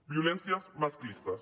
violències masclistes